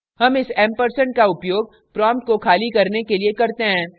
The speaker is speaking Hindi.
हम इस एम्परसेंड का उपयोग prompt को खाली करने के लिए करते हैं